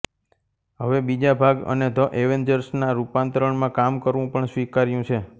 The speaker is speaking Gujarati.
હવે બીજા ભાગ અને ધ એવેન્જર્સ ના રૂપાંતરણમાં કામ કરવું પણ સ્વીકાર્યું છે